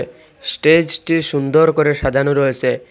স্টেজটি সুন্দর করে সাজানো রয়েছে।